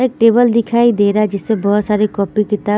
एक टेबल दिखाई दे रहा है जिससे बोहोत साड़ी कॉपी किताबे--